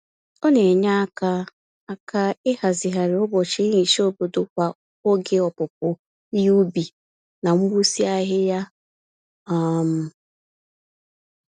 Ọ na-enye aka aka ịhazigharị ụbọchị nhicha obodo kwa oge opupu ihe ubi na mgbụsị ahịhịa. um